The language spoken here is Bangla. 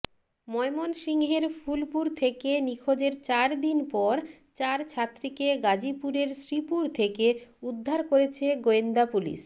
ময়মনসিংহের ফুলপুর থেকে নিখোঁজের চারদিন পর চার ছাত্রীকে গাজীপুরের শ্রীপুর থেকে উদ্ধার করেছে গোয়েন্দা পুলিশ